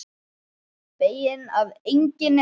Feginn að enginn er heima.